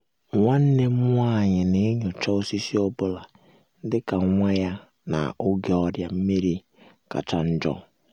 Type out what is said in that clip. nwannem nwa-anyị na-enyocha osisi ọ bụla dị ka nwa ya na-oge ọrịa nmeri kacha njo